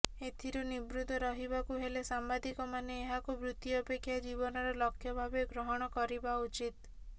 ଏଥିରୁ ନିବୃତ୍ତ ରହିବାକୁ ହେଲେ ସାମ୍ବାଦିକମାନେ ଏହାକୁ ବୃତ୍ତି ଅପେକ୍ଷା ଜୀବନର ଲକ୍ଷ୍ୟ ଭାବେ ଗ୍ରହଣ କରିବା ଉଚିତ